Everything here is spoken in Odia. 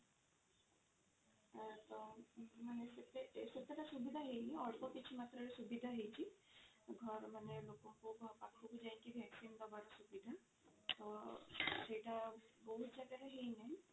ତ ମାନେ ସେତେଟା ସୁବିଧା ହେଇନି ଅଳ୍ପ କିଛି ମାତ୍ରା ରେ ସୁବିଧା ହେଇଛି ଘରେ ମାନେ ଲୋକଙ୍କ ପାଖକୁ ଯାଇକି vaccine ଦବାର ସୁବିଧା ତ ସେଇଟା ବହୁତ ଜାଗାରେ ହେଇ ନାହିଁ